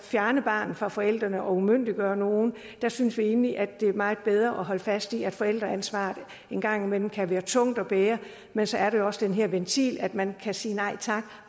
fjerne barnet fra forældrene og umyndiggøre nogen der synes vi egentlig at det er meget bedre holde fast i at forældreansvaret en gang imellem kan være tungt at være men så er der jo også den her ventil at man kan sige nej tak